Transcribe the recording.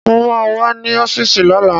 Mo ma wà ní ọ́fíìsì lọ́la